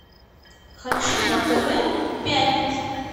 хочу на тв пятница